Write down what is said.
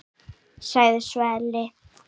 sagði Sölvi.